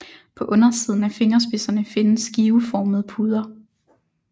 På undersiden af fingerspidserne findes skiveformede puder